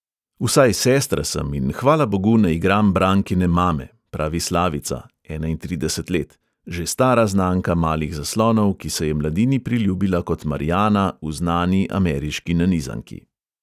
Vsaj sestra sem in, hvala bogu, ne igram brankine mame," pravi slavica (enaintrideset let), že stara znanka malih zaslonov, ki se je mladini priljubila kot marjana v znani ameriški nanizanki.